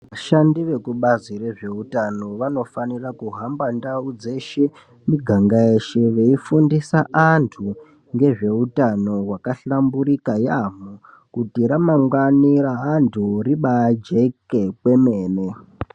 Vashandi vekubazi rezveutano vanofanira kuhamba ndau dzeshe muganga yeshe mweifundisa vantu ngezveutano wakahlamburika yaemho kuti ramangwana reantu ribajeke kwemene.